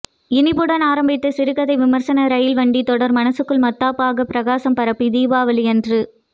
இனிப்புடன் ஆரம்பித்த சிறுகதை விமர்சன ரயில் வண்டி தொடர் மனசுக்குள் மத்தாப்பூ ஆக பிரகாசம் பரப்பி தீபாவளி அன்று